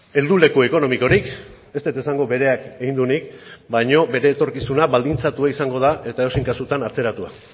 heldu leku ekonomikorik ez dut esango bereak egin duenik baino bere etorkizuna baldintzatua izango da eta edozein kasutan atzeratua